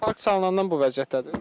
Park salınandan bu vəziyyətdədir.